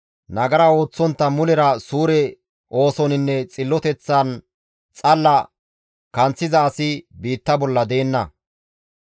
Nagara ooththontta mulera suure oosoninne xilloteththan xalla kanththiza asi biitta bolla deenna.